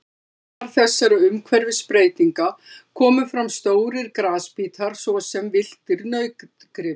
Í kjölfar þessara umhverfisbreytinga komu fram stórir grasbítar svo sem villtir nautgripir.